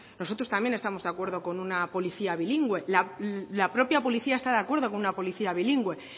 nosotros también estamos de acuerdo con una policía bilingüe la propia policía está de acuerdo con una policía bilingüe